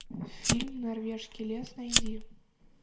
фильм норвежский лес найди